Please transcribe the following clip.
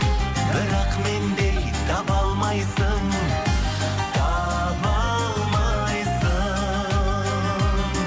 бірақ мендей таба алмайсың таба алмайсың